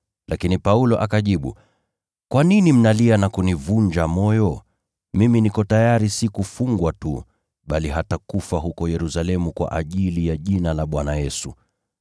Lakini Paulo akajibu, “Kwa nini mnalia na kunivunja moyo? Mimi niko tayari si kufungwa tu, bali hata kufa huko Yerusalemu kwa ajili ya jina la Bwana Yesu.”